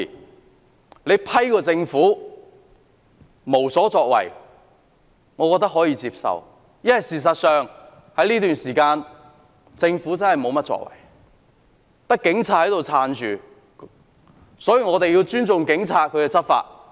我認為批評政府無所作為是可以接受的，因為政府在這段時間確是無所作為，單靠警方支撐，所以我們必須尊重警察執法。